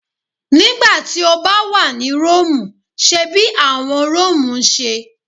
Nigbati o ba wa ni Romu, ṣe bi awọn Romu ṣe